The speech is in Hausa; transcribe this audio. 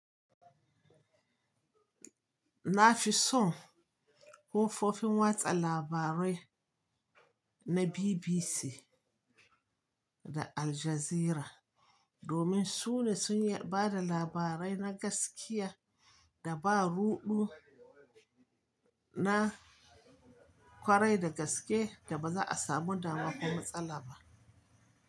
Na fi son kofofin watsa labarai na BBC da Aljazeera domin su ne sun bada labarai na gaskiya da ba ruɗu na ƙwarai da gaske da ba za a samu damakon matsala ba.